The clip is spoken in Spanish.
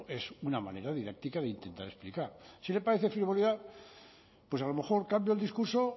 es una manera didáctica de intentar explicar si le parece frivolidad pues a lo mejor cambio el discurso o